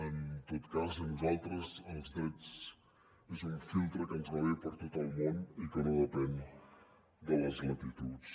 en tot cas a nosaltres els drets és un filtre que ens va bé per a tot el món i que no depèn de les latituds